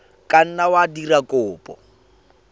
ka nna wa dira kopo